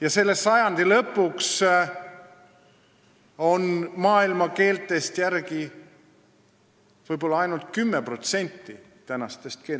Ja selle sajandi lõpuks on maailma keeltest järel võib-olla ainult 10% seni